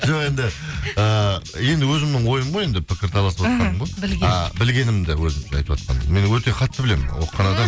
жоқ енді ыыы енді өзімнің ойым ғой енді пікір таласыватқаным ғой ы білгенміді өзімше айтватқанмын мен өте қатты білемін оқыған